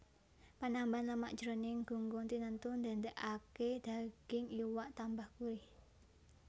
Panambahan lemak jroning gunggung tinentu ndadèkaké daging iwak tambah gurih